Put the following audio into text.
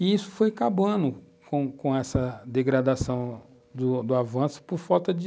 E isso foi acabando com com essa degradação do avanço por falta de...